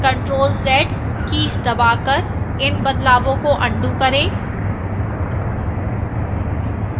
ctrl + z keys दबाकर इन बदलावों को अन्डू करें